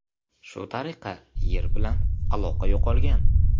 Shu tariqa, Yer bilan aloqa yo‘qolgan.